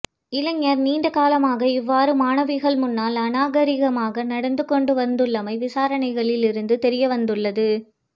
இளைஞர் நீண்ட காலமாக இவ்வாறு மாணவிகள் முன்னால் அநாகரீகமாக நடந்து கொண்டு வந்துள்ளமை விசாரணைகளில் இருந்து தெரியவந்துள்ளது